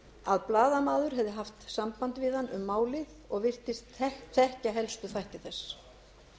að blaðamaður hefði haft samband við hann um málið og virtist þekkja helstu þætti þess